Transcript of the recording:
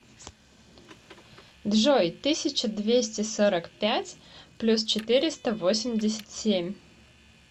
джой тысяча двести сорок пять плюс четыреста восемьдесят семь